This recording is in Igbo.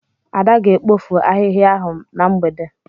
Ada ga-ekpofu ahịhịa ahụ na mgbede.